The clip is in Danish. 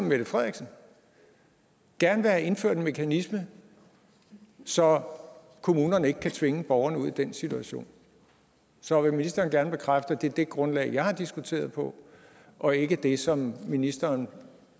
mette frederiksen gerne vil have indført en mekanisme så kommunerne ikke kan tvinge borgeren ud i den situation så vil ministeren gerne bekræfte at det er det grundlag jeg har diskuteret på og ikke det som ministeren